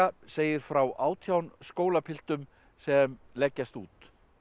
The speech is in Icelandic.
segir frá átján skólapiltum sem leggjast út